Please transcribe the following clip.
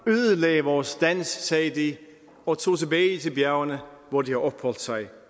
ødelagde vores dans sagde de og tog tilbage til bjergene hvor de har opholdt sig